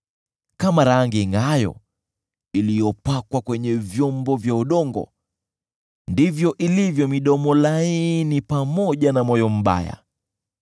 Kama rangi ingʼaayo iliyopakwa kwenye vyombo vya udongo ndivyo ilivyo midomo laini pamoja na moyo mbaya.